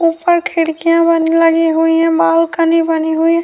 اپرکھڑکیاں بنی ہی ہے، اپربالکنی بنی ہی ہے-